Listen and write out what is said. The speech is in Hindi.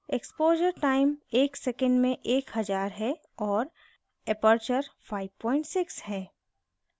इक्स्पोश़र time एक second में एक हज़ार है और aperture 56 है